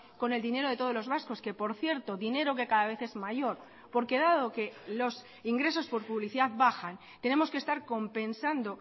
con el dinero de todos los vascos que por cierto dinero que cada vez es mayor porque dado que los ingresos por publicidad bajan tenemos que estar compensando